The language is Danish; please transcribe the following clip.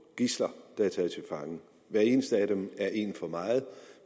gidsler der er taget til fange hver eneste af dem er en for meget